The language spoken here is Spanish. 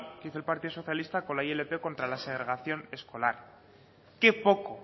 que hizo el partido socialista con la ilp contra la segregación escolar qué poco